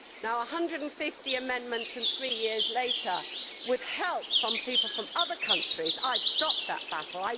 Now, 150 amendments and three years later, with help from people from other countries, I have stopped that battle.